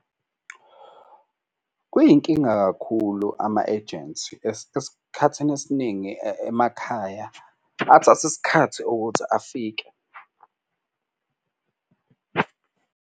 Kuyinkinga kakhulu ama-ejensi esikhathini esiningi emakhaya athatha isikhathi ukuthi afike.